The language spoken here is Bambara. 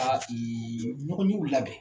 labɛn.